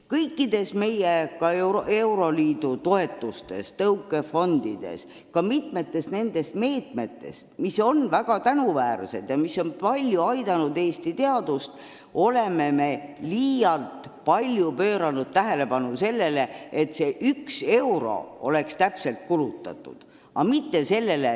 Kõikide euroliidu toetuste puhul, mis on tulnud tõukefondidest ja ka mitmete muude meetmete kaudu ning mis on olnud väga tänuväärsed ja aidanud Eesti teadust, oleme me liialt palju pööranud tähelepanu sellele, et iga euro oleks kulutatud täpselt nii, nagu ette nähtud.